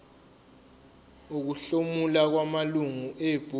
ukuhlomula kwamalungu ebhodi